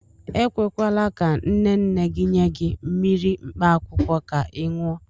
E kwekwala ka nne nne gị nye gị mmiri mkpaakwụkwọ ka ị ṅụọ.